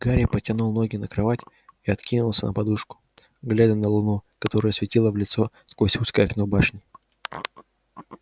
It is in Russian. гарри подтянул ноги на кровать и откинулся на подушку глядя на луну которая светила в лицо сквозь узкое окно башни